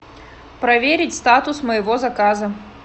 проверить статус моего заказа